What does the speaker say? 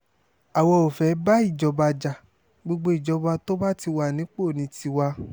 àwa ò fẹ́ẹ̀ bá ìjọba já gbogbo ìjọba tó bá ti wà nípò ní tiwa